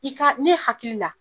I ka ne hakili la